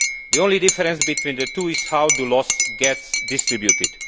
The only difference between the two is how the loss gets distributed.